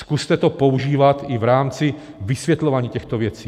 Zkuste to používat i v rámci vysvětlování těchto věcí.